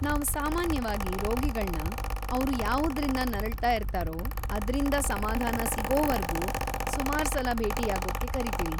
ನಾವ್ ಸಾಮಾನ್ಯವಾಗಿ ರೋಗಿಗಳ್ನ ಅವ್ರು ಯಾವುದ್ರಿಂದ ನರಳ್ತಾ ಇರ್ತಾರೋ ಅದ್ರಿಂದ ಸಮಾಧಾನ ಸಿಗೋವರ್ಗೂ ಸುಮಾರ್ಸಲ ಭೇಟಿಯಾಗೋಕ್ಕೆ ಕರೀತೀವಿ.